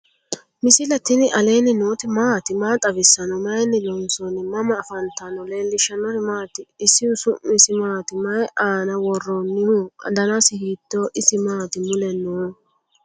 misile tini alenni nooti maati? maa xawissanno? Maayinni loonisoonni? mama affanttanno? leelishanori maati? isihu au'misi maati? mayi anna woroniho? danasi hitoho? isi mati mule no?